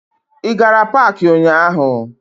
Ị gara paakị ụnyaahụ?